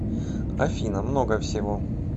афина много всего